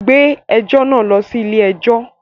Gbé ẹjọ́ náà lọ sí ilé-ẹjọ́!